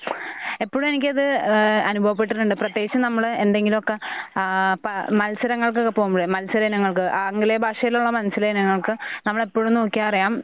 ഹ് എപ്പഴു എനിക്കിത് ഏഹ് അനുഭവപ്പെട്ടിട്ടുണ്ട്. പ്രത്യേകിച്ച് നമ്മള് എന്തെങ്കിലൊക്കെ ആഹ് പ മത്സരങ്ങൾകൊക്കെ പോകുമ്പഴെ മത്സരങ്ങൾക്ക് ആംഗലേയ ഭാഷയിലുള്ള മത്സരയിനങ്ങൾക്ക് നമ്മള് എപ്പഴും നോക്കിയ അറിയാം